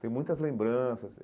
Tem muitas lembranças.